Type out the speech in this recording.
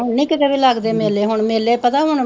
ਹੁਣ ਨਹੀਂ ਕਿਤੇ ਵੀ ਲੱਗਦੇ ਹੁਣ ਮੇਲੇ ਪਤਾ ਹੁਣ